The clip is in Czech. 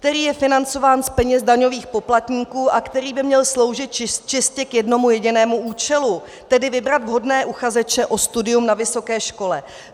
... který je financován z peněz daňových poplatků a který by měl sloužit čistě k jednomu jedinému účelu, tedy vybrat vhodné uchazeče o studium na vysoké škole.